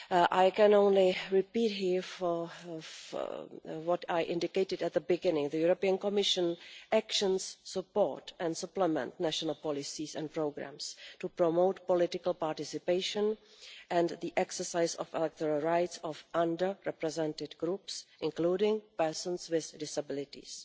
I can only repeat here what I indicated at the beginning the Commission's actions support and supplement national policies and programmes to promote political participation and the exercise of the electoral rights of under represented groups, including persons with disabilities.